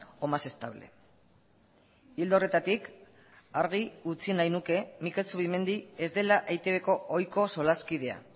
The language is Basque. o más estable ildo horretatik argi utzi nahi nuke mikel zubimendi ez dela eitbko ohiko solaskidea